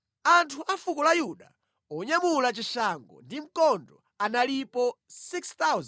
Anthu a fuko la Yuda onyamula chishango ndi mkondo analipo 6,800;